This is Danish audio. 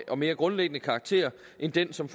og mere grundlæggende karakter end den som